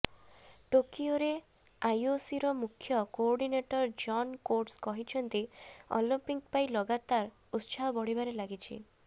ଟୋକିଓରେ ଆଇଓସିର ମୁଖ୍ୟ କୋଅର୍ଡିନେଟର୍ ଜନ୍ କୋଟ୍ସ କହିଛନ୍ତି ଅଲିମ୍ପିକ୍ସ ପାଇଁ ଲଗାତାର ଉତ୍ସାହ ବଢ଼ିବାରେ ଲାଗିଛି